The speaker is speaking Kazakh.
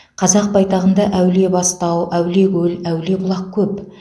қазақ байтағында әулиебастау әулиекөл әулиебұлақ көп